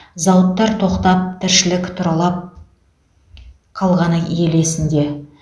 зауыттар тоқтап тіршілік тұралап қалғаны ел есінде